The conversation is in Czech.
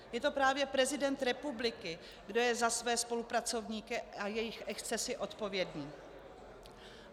Je to právě prezident republiky, kdo je za své spolupracovníky a jejich excesy odpovědný.